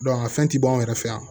a fɛn ti ban o yɛrɛ fɛ yan